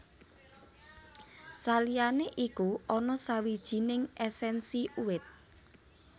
Saliyané iku ana sawijining èsènsi uwit